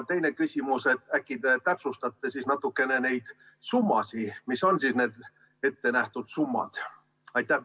Teine küsimus: äkki te täpsustate natukene neid summasid, mis on ette nähtud?